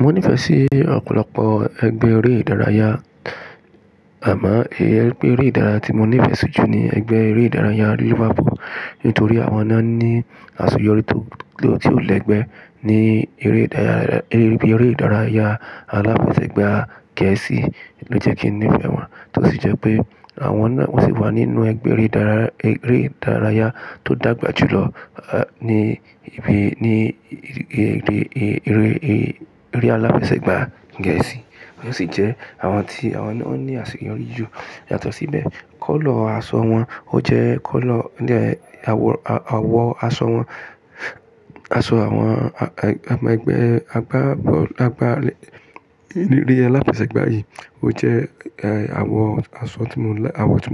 Mo nífẹ̀ẹ́ sí ọ̀pọ̀lọpọ̀ ẹgbẹ́ eré ìdárayá, àmọ́ èyí ẹgbẹ́ eré ìdárayá tí mo nífẹ̀ẹ́ jù ní ẹgbẹ́ eré ìdárayá Liverpool nítorí àwọn náà ní àsẹ̀yọrí ti ó lẹ́gbẹ́ ní eré ìdárayá. Eré ìdárayá aláfẹsẹ̀gbá Gẹ̀ẹ́sì ló jẹ́ kí n nífẹ̀ẹ́ wọn, tó sì jẹ́ pé àwọn náà wà nínú ẹgbẹ́ eré ìdárayá tó dàgbà jù lọ ní ibi ní eré, eré aláfẹsẹ̀gbá Gẹ̀ẹ́sì. Wọ́n sì jẹ́ àwọn tí àwọn náà ní àsẹ̀yọrí jù. Yàtọ̀ síbẹ̀, kọ́lọ̀ aṣọ wọn ó jẹ́ kọ́lọ̀ ní àwọ̀ aṣọ wọn, aṣọ àwọn àwọn ẹgbẹ́ agbá bọ́ọ̀lù eré aláfẹsẹ̀gbá yìí ó jẹ́ àwọ̀ aṣọ tí